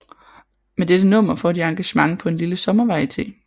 Med dette nummer får de engagement på en lille sommervarieté